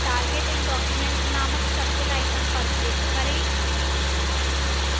target in document named circle icon पर click करें